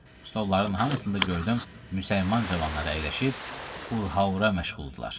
Stolların hamısında gördüm müsəlman cavanları əyləşib urhaura məşğuldular.